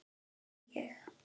Þarna var ég.